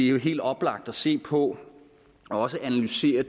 er helt oplagt at se på og analysere